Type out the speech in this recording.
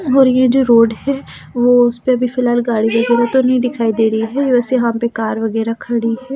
और ये जो रोड है वो उस पे अभी फिलहाल गाड़ी वगैरह तो दिखाई दे रही है बस यहां पे कार वगैरह खड़ी है ।